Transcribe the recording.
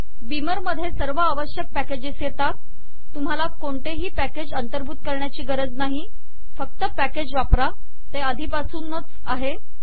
Beamer मध्ये सर्व आवश्यक पॅकेजेस येतात तुम्हाला कोणते ही पॅकेज अंतर्भूत करण्याची गरज नाही फक्त पॅकेज वापरा ते आधीपासून आहेच